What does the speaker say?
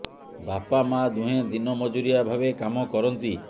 ବାପା ମାଆ ଦୁହେଁ ଦିନ ମଜୁରିଆ ଭାବେ କାମ କରନ୍ତି